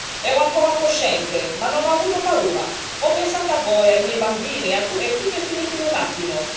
Ero ancora cosciente, ma non ho avuto paura, ho pensato a voi e ai miei bambini e tutto è finito in un attimo.